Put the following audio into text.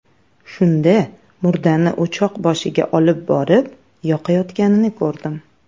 Shunda murdani o‘choq boshiga olib borib yoqayotganini ko‘rdim.